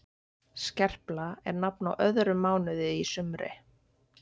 skerpla er nafn á öðrum mánuði í sumri